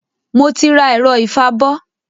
Mo ti rà ẹ̀rọ ìfabọ́